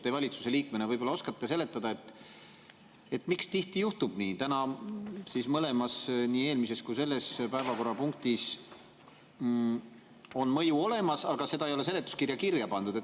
Te valitsuse liikmena äkki oskate seletada, miks tihti juhtub nii – täna juhtus see mõlema päevakorrapunkti, nii eelmise kui ka selle puhul –, et mõju on olemas, aga seda ei ole seletuskirja kirja pandud.